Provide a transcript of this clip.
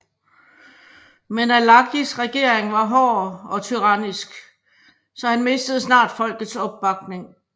Men Alagis regering var hård og tyrannisk så han mistede snart folkets opbakning